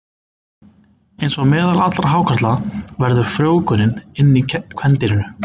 Eins og meðal allra hákarla verður frjóvgunin inni í kvendýrinu.